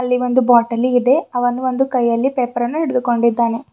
ಅಲ್ಲಿ ಒಂದು ಬಾಟಲಿ ಇದೆ ಅವನು ಒಂದು ಕೈಯಲ್ಲಿ ಪೇಪರ್ ಅನ್ನು ಹಿಡಿದು ಕೊಂಡಿದ್ದಾನೆ.